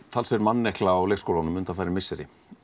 mannekla á leikskólunum undanfarin misseri